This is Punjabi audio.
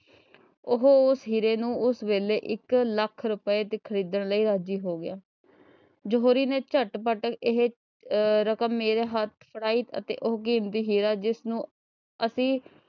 ਉਦੋਂ ਉਹ ਹੀਰੇ ਨੂੰ ਉਸ ਵੇਲੇ ਇਕ ਲੱਖ ਦੇ ਰੁਪਏ ਚ ਖਰੀਦਣ ਲਈ ਰਾਜੀ ਹੋ ਗਿਆ। ਜੌਹਰੀ ਨੇ ਝੱਟਪੱਟ ਇਹ ਆਹ ਰਕਮ ਮੇਰੇ ਹੱਥ ਫੜਾਈ ਅਤੇ ਉਹ ਕੀਮਤੀ ਹੀਰਾ ਜਿਸਨੂੰ ਅਸੀਂ,